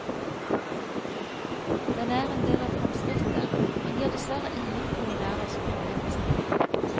Den er en del av fremskrittet, men gir dessverre ingen kulinarisk opplevelse.